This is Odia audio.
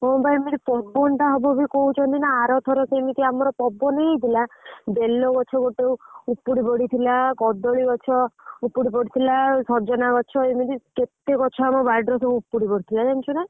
ହଁ ବା ଏମତି ପବନ ଟା ହବବି କହୁଛନ୍ତି ନାଁ ଅରଥରକ ଆମର ଏମିତି ପବନ ହେଇଥିଲା ବେଲ ଗଛ ଗୋଟେ ଉପୁଡି ପଡିଥିଲା କଦଳୀ ଗଛ ଉପୁଡି ପଡିଥିଲା ସଜନା ଗଛ ଏମତି କେତେ ଆମ ବାଡି ରୁ ଉପୁଡି ପଡିଥିଲା ଜାଣିଛୁ ନାଁ।